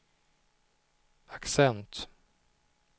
accent